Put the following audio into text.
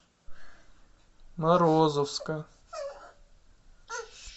морозовска